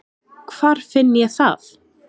Hvar finn ég það?